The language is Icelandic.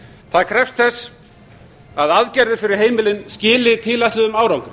það krefst þess að aðgerðir fyrir heimilin skili tilætluðum árangri